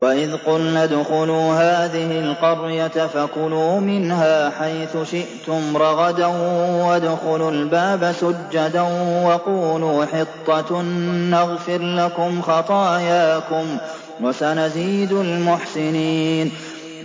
وَإِذْ قُلْنَا ادْخُلُوا هَٰذِهِ الْقَرْيَةَ فَكُلُوا مِنْهَا حَيْثُ شِئْتُمْ رَغَدًا وَادْخُلُوا الْبَابَ سُجَّدًا وَقُولُوا حِطَّةٌ نَّغْفِرْ لَكُمْ خَطَايَاكُمْ ۚ وَسَنَزِيدُ الْمُحْسِنِينَ